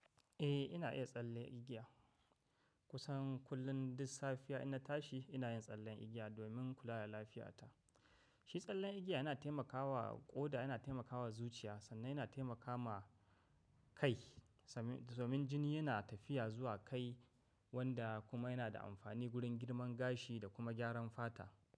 Eh ina iya tsalle igiya kusan kullum duk safiya ina tashi ina yin tsallen igiya domin kula da lafiyata. Shi tsallen igiya yana taimakawa ƙoda yana taimakawa zuciya sannan yana taimakawa kai. Domin jini yana tafiya zuwa kai wanda kuma yana da amfani gurin girman gashi da kuma gyaran fata.